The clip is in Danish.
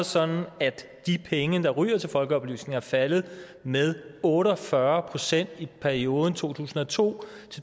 sådan at de penge der ryger til folkeoplysning er faldet med otte og fyrre procent i perioden to tusind og to